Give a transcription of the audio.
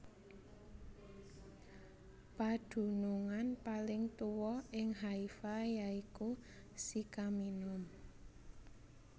Padunungan paling tuwa ing Haifa ya iku Sycaminum